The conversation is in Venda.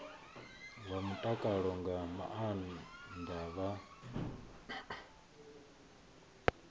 wa mutakalo nga maana vha